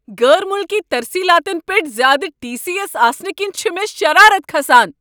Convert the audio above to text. غٲر ملکی ترسیلاتن پیٹھ زیادٕ ٹی۔ سی۔ ایس آسنہٕ کِنۍ چھ مے شرارت کھسان۔